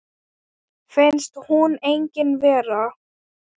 Finnst hún engin vera.